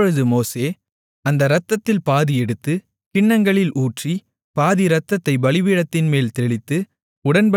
அப்பொழுது மோசே அந்த இரத்தத்தில் பாதி எடுத்து கிண்ணங்களில் ஊற்றி பாதி இரத்தத்தைப் பலிபீடத்தின்மேல் தெளித்து